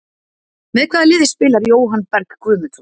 Með hvaða liði spilar Jóhann Berg Guðmundsson?